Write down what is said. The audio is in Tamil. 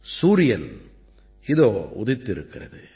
சூரியன் இதோ உதித்திருக்கிறது